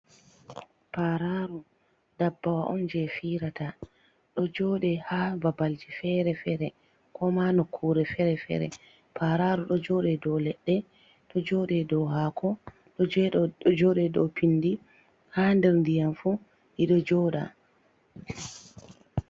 Pararu dabbawa on, jey firata ɗo jooɗe haa babalji fere-fere, ko ma nokkuure fere-fere. Pararu ɗo jooɗe dow leɗɗe, ɗo jooɗe dow haako, ɗo jooɗe dow pinndi, haa nder ndiyam fu ɗi ɗo jooɗa.